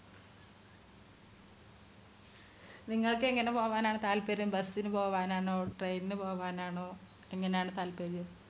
നിങ്ങൾക്ക് എങ്ങനെ പോകാനാണ് താല്പര്യം bus ന് പോകാനാണ് train പോകാനാണ് എങ്ങനെയാണ് താല്പര്യം